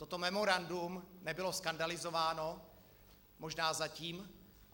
Toto memorandum nebylo skandalizováno, možná zatím.